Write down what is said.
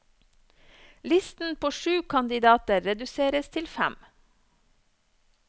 Listen på sju kandidater reduseres til fem.